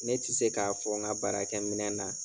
Ne ti se k'a fɔ n ka baarakɛ minɛn na.